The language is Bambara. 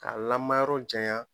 Ka lamayɔrɔ janya.